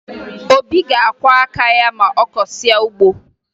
Obi ga-akwọ aka ya ma ọ kọsịa ugbo